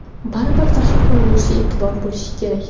Baribir tashqi ko‘rinishga e’tibor bo‘lish kerak.